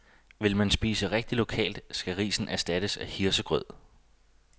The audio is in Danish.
Vil man spise rigtigt lokalt, skal risen erstattes af hirsegrød.